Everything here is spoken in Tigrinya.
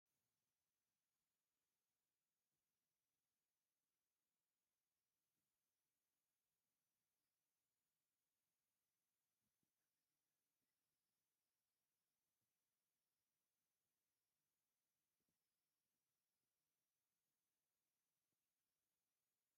ብዙሓት ጥርሙዝ ወይኒ ኣብ መደርደሪ ብጽፉፍ ተሰሪዖም ይቐርቡ፤ እቶም ጥርሙዝ ብቀጠልያ መትሓዚታትን ሰማያዊ ምልክታትን ተሸፊኖም ኣለዉ። ብድሕሪኦም ኣብ መንደቕ ኤሌክትሪካዊ መሳርሒ፡ ብጎኒ ድማ ብቐይሕ መንደቕ ዝተሸፈነ መድረኽ ይርአ።